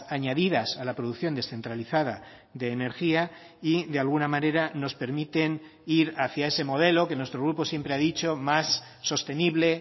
añadidas a la producción descentralizada de energía y de alguna manera nos permiten ir hacia ese modelo que nuestro grupo siempre ha dicho más sostenible